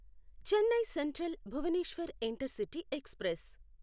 Chennai central Bhubaneswar intercity express